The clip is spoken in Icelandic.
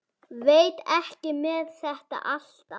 Veit ekki með þetta alltaf.